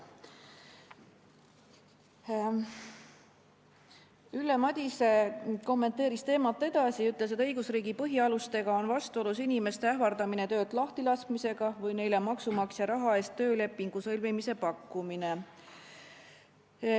Ülle Madise kommenteeris teemat edasi ja ütles, et õigusriigi põhialustega on vastuolus inimeste ähvardamine töölt lahtilaskmisega või neile maksumaksja raha eest töölepingu sõlmimise pakkumine.